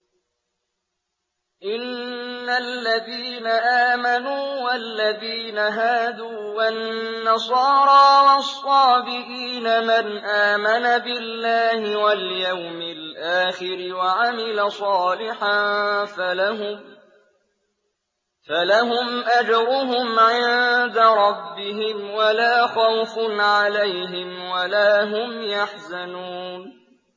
إِنَّ الَّذِينَ آمَنُوا وَالَّذِينَ هَادُوا وَالنَّصَارَىٰ وَالصَّابِئِينَ مَنْ آمَنَ بِاللَّهِ وَالْيَوْمِ الْآخِرِ وَعَمِلَ صَالِحًا فَلَهُمْ أَجْرُهُمْ عِندَ رَبِّهِمْ وَلَا خَوْفٌ عَلَيْهِمْ وَلَا هُمْ يَحْزَنُونَ